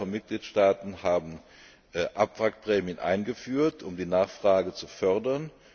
Eine Reihe von Mitgliedstaaten hat Abwrackprämien eingeführt, um die Nachfrage zu fördern.